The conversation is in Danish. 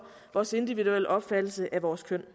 vores individuelle opfattelse af vores køn